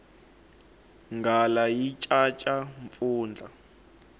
nghala yi caca mpfundla